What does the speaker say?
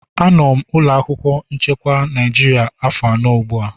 Anọ m na ụlọ akwụkwọ chekwa Naịjirịa afọ anọ ugbu a.